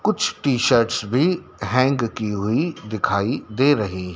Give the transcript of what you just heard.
कुछ टी-शर्ट्स भी हैंग की हुई दिखाई दे रही --